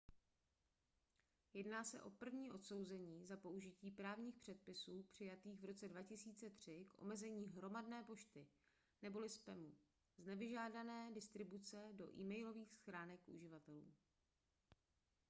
jedná se o první odsouzení za použití právních předpisů přijatých v roce 2003 k omezení hromadné pošty neboli spamu z nevyžádané distribuce do e-mailových schránek uživatelů